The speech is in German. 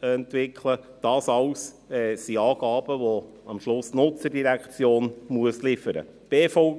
entwickelt, das alles sind Angaben, welche am Ende die Nutzerdirektion liefern muss.